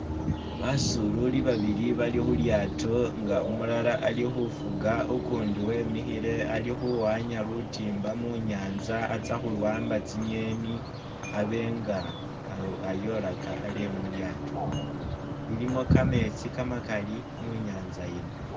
Basoololi babili bali khulyaato nga umulala ali khufuga ukundi wemikhile ali khuwanya lutimba munyanza atsa khuwamba tsi'ngeni abenga alu ayolaka ale mulyaato, ilimo kameetsi kamakali munyanza yino